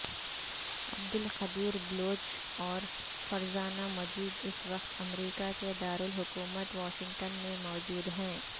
عبدالقدیر بلوچ اور فرزانہ مجید اس وقت امریکہ کے دارالحکومت واشنگٹن میں موجود ہیں